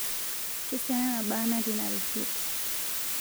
Kesiana naaba natii ina risit?